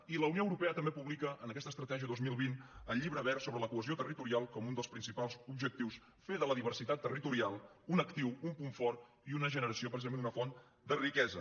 i la unió europea també publica en aquesta estratègia dos mil vint el llibre verd sobre la cohesió territorial com un dels principals objectius fer de la diversitat territorial un actiu un punt fort i una generació precisament una font de riquesa